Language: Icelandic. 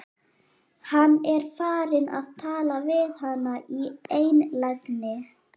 Hann er farinn að tala við hana í einlægni!